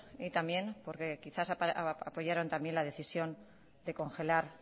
y también porque quizás apoyaron también la decisión de congelar